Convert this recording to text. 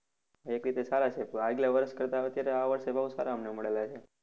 એક રીતે સારા છે તો આગલા વર્ષ કરતા અત્યારે આ વર્ષે ભાવ સારા અમને મળેલા છે.